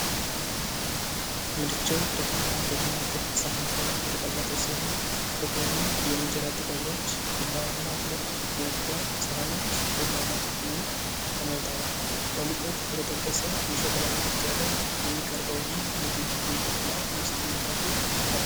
ምድጃው ብረታማ በሆነ ክብ ሳህን ላይ የተቀመጠ ሲሆን፣ ከጎኑ የኢንጀራ ጥቅልሎች፣ ቢላዋና ሁለት ጎድጓዳ ሳህኖች በቅመማ ቅመም ተሞልተዋል። በሙቀት በተጠበሰው የሸክላ ምድጃ ላይ የሚቀርበው ይህ ምግብ በኢትዮጵያ ውስጥ ምን ተብሎ ይጠራል?